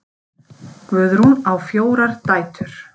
Guðrún á fjórar dætur.